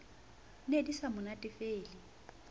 ne di sa mo natefele